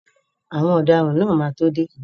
Àwọn ọ̀daràn náà máa tó dé.